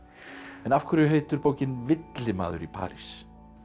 en af hverju heitir bókin villimaður í París